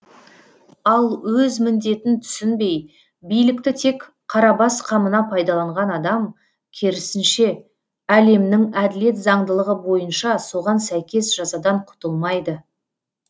ал өз міндетін түсінбей билікті тек қарабас қамына пайдаланған адам керісінше әлемнің әділет заңдылығы бойынша соған сәйкес жазадан құтылмайды